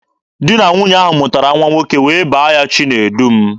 Di na nwunye ahụ mụtara nwa nwoke wee baa ya Chinedum.